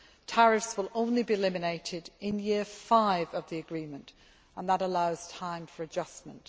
Tariffs will only be eliminated in year five of the agreement, and that allows time for adjustment.